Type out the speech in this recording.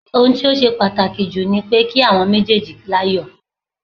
Ohun tó ṣe pàtàkì jù ni pé kí àwọn méjèèjì láyọ̀